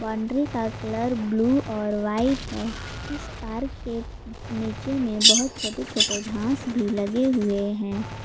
Boundary का colour blue और white है इस पार्क के नीचे में बहुत छोटे छोटे घास भी लगे हुए हैं।